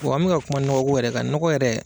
an mɛ ka kuma nɔgɔko yɛrɛ kan nɔgɔ yɛrɛ